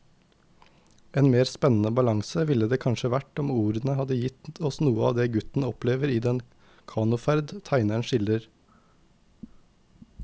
En mer spennende balanse ville det kanskje vært om ordene hadde gitt oss noe av det gutten opplever i den kanoferd tegneren skildrer.